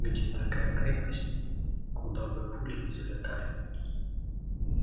где такая крепость куда бы пули не залетали